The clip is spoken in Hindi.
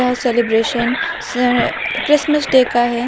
सेलिब्रेशन से एर क्रिसमस डे का है।